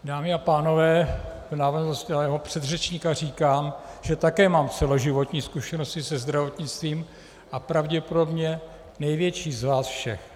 Dámy a pánové, v návaznosti na svého předřečníka říkám, že také mám celoživotní zkušenosti se zdravotnictvím, a pravděpodobně největší z vás všech.